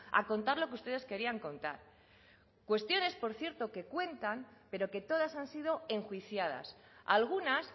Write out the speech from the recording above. a contar lo que ustedes querían contar cuestiones por cierto que cuentan pero que todas han sido enjuiciadas algunas